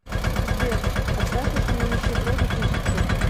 сбер отправь этому нищеброду тысячу